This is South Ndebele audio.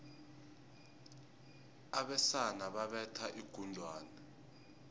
abesana babetha inghwani